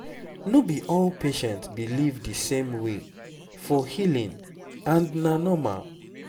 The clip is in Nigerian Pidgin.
no be all patient believe the same way for healing and na normal